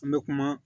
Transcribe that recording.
An bɛ kuma